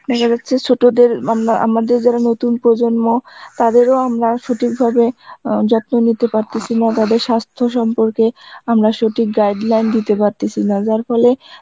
দেখা যাচ্ছে ছোটদের আম~ আমদের নতুন প্রজন্ম, তাদের ও আমরা সঠিক ভাবে অ্যাঁ যত্ন নিতে পারতেসি না, তাদের সাস্থ্য সম্পর্কে, আমরা সঠিক guideline দিতে পারতেসি না যার ফলে